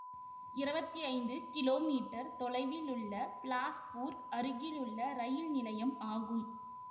இருபத்தி ஐந்து கிலோமீட்டர் தொலைவிலுள்ள பிலாஸ்பூர் அருகிலுள்ள ரயில் நிலையம் ஆகும்